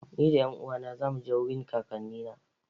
Ni da 'yan uwana za mu je wurin kakannina.